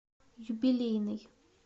юбилейный